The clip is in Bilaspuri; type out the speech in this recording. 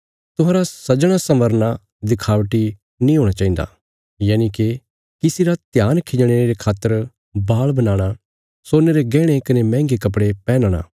तुहांरा सजणासंबरना दिखावटी नीं हूणा चाहिन्दा यनिके किसी रा ध्यान खिंजणे रे खातर बाल बनाणा सोने रे गैहणे कने मैहंगे कपड़े पैहनणा